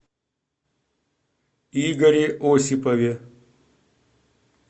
игоре осипове